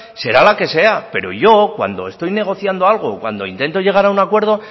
será la que sea pero yo cuando estoy negociando algo o cuando intento llegar a un acuerdo